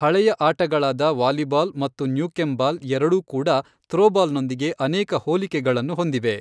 ಹಳೆಯ ಆಟಗಳಾದ ವಾಲಿಬಾಲ್ ಮತ್ತು ನ್ಯೂಕೆಮ್ ಬಾಲ್ ಎರಡೂ ಕೂಡ ಥ್ರೋಬಾಲ್ನೊಂದಿಗೆ ಅನೇಕ ಹೋಲಿಕೆಗಳನ್ನು ಹೊಂದಿವೆ.